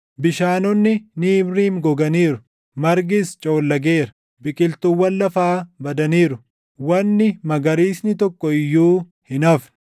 Bishaanonni Niimriim goganiiru; margis coollageera; biqiltuuwwan lafaa badaniiru; wanni magariisni tokko iyyuu hin hafne.